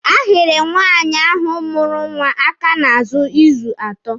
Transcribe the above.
A hịrị nwaanyị ahụ mụrụ nwa aka n'ahụ izu atọ.